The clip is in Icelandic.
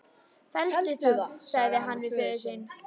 Felldu það, sagði hann við föður sinn.